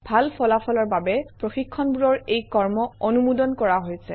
ভাল ফলাফলৰ বাবে প্ৰশিক্ষণবোৰৰ এই ক্ৰম অনুমোদন কৰা হৈছে